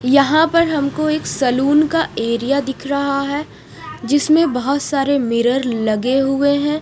यहाँ पर हमको एक सलून का एरिया दिख रहा है जिसमे बहुत सारे मिरर लगे हुए है।